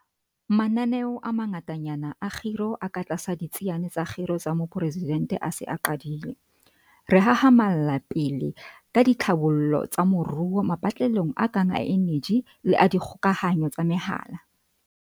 Mananeo a mangatanyana a kgiro a katlasa Ditsiane tsa Kgiro tsa Moporesidente a se a qadile. Re hahamalla pele ka ditlhabollo tsa moruo mapatlelong a kang a eneji le a dikgokahanyo tsa mehala.